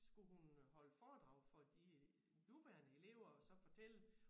Skulle hun øh holde foredrag for de nuværende elever og så fortælle